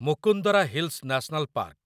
Mukundra hills national park